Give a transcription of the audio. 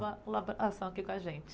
colaboração aqui com a gente.